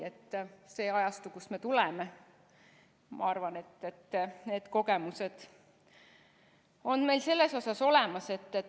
Ma arvan, et sellest ajastust, kust me tuleme, on need kogemused meil selles osas olemas.